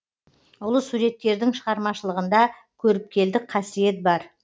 ұлы суреткердің шығармашылығында көріпкелдік қасиет бар